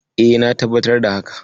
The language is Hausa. E, na tabbatar da haka.